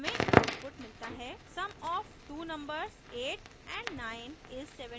sum of two numbers 8 & 9 is 17